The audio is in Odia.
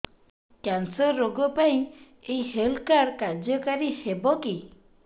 କ୍ୟାନ୍ସର ରୋଗ ପାଇଁ ଏଇ ହେଲ୍ଥ କାର୍ଡ କାର୍ଯ୍ୟକାରି ହେବ କି